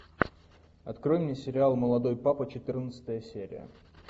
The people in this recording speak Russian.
открой мне сериал молодой папа четырнадцатая серия